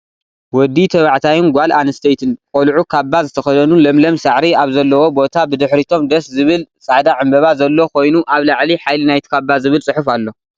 ወዲተባዕታይን ጓል አንስተይትን ቆልዑ ካባ ዝተከደኑ ለምለም ሳዕሪ አብ ዘለዎ ቦታ ብድሕሪቶም ደስ ዝብል ፃዕዳ ዕምበባ ዘሎ ኮይኑ አብ ላዕሊ ሓይሊ ናይቲ ካባ ዝብል ፅሑፍ አሎ፡፡